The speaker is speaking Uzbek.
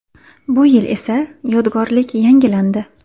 Bu yil esa, yodgorlik yangilandi.